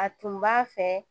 A tun b'a fɛ